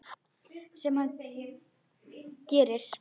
Sem hann gerir.